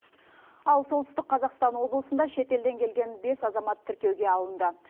ал солтүстік қазақстан облысында шетелден келген бес азамат тіркеуге алынды